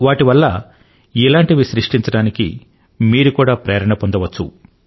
వాటివల్ల ఇలాంటివి సృష్టించడానికి మీరు కూడా ప్రేరణ పొందవచ్చు